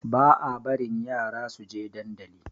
Ba a barin yara suje dandali